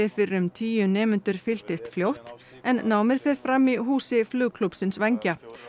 fyrir um tíu nemendur fylltist fljótt en námið fer fram í húsi flugklúbbsins vængja